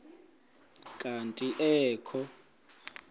kanti ee kho